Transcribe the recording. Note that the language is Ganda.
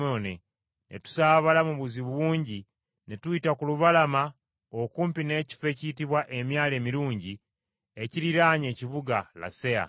Ne tusaabala mu buzibu bungi ne tuyita ku lubalama okumpi n’ekifo ekiyitibwa Emyalo Emirungi ekiriraanye ekibuga Laseya.